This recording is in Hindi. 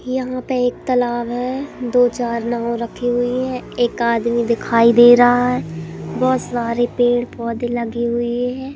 यहां पे एक तालाब है दो चार नाव रखी हुइ है एक आदमी दिखाई दे रहा है बहोत सारे पेड़ पौधे लगी हुई है।